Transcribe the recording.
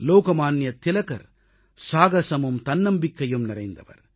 லோகமான்ய திலகர் சாகசமும் தன்னம்பிக்கையும் நிறைந்தவர்